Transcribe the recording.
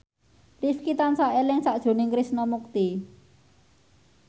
Rifqi tansah eling sakjroning Krishna Mukti